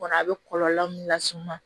Kɔnɔ a be kɔlɔlɔ min las'i ma